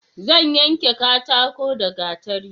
Zan yanke katako da gatari